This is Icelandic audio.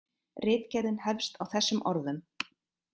Ritgerðin hefst á þessum orðum: